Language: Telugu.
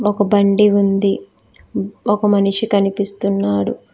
ఒక బండి ఉంది ఒక మనిషి కనిపిస్తున్నాడు.